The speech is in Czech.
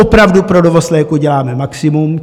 Opravdu pro dovoz léků děláme maximum.